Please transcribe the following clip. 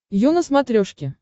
ю на смотрешке